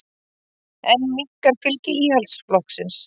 Enn minnkar fylgi Íhaldsflokksins